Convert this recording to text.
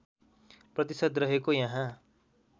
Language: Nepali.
प्रतिशत रहेको यहाँ